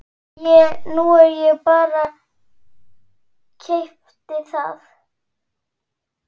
Nú ég bara. keypti það.